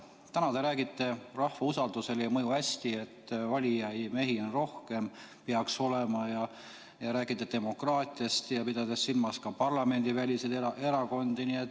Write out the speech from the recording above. Täna te räägite, et rahva usaldusele ei mõju hästi, valijamehi peaks olema rohkem, räägite demokraatiast ja peate silmas ka parlamendiväliseid erakondi.